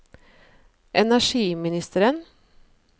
energiministeren